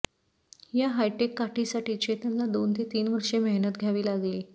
या हायटेक काठीसाठी चेतनला दोन ते तीन वर्षे मेहनत घ्यावी लागली